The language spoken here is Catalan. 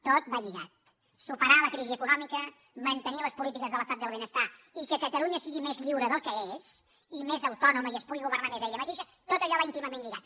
tot va lligat superar la crisi econòmica mantenir les polítiques de l’estat del benestar i que catalunya sigui més lliure del que és i més autònoma i es pugui governar més ella mateixa tot això va íntimament lligat